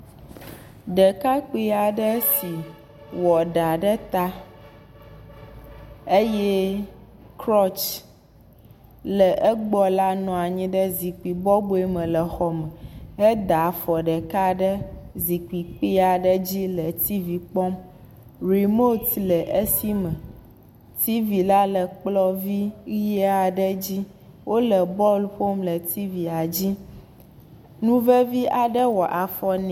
Ɖekakpui aɖe wɔ ɖa ɖe ta eye krɔtchi la nɔ anyi ɖe egbɔ le zikpui bɔbɔe me le xɔ me, eɖa afɔ ɖeka ɖe zikpui kpui aaɖe dzi le nukpɔm, remote le esi me. Tv la le kplɔ dzi. Wole bɔl ƒom le tvia dzi. Nu veve aɖe wɔ afɔ ne.